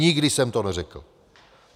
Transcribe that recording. Nikdy jsem to neřekl.